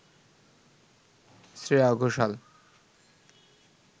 Shreya Ghoshal